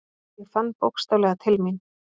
Ég fann bókstaflega til mín.